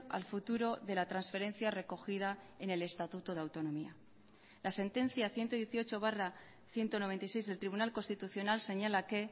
al futuro de la transferencia recogida en el estatuto de autonomía la sentencia ciento dieciocho barra ciento noventa y seis del tribunal constitucional señala que